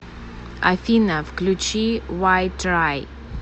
афина включи вай трай